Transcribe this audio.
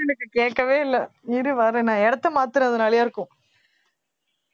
உன் voice எனக்கு கேக்கவே இல்ல இரு வர்றேன் நான் இடத்தை மாத்துறதுனாலையா இருக்கும்